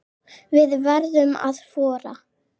Við verðum að þora.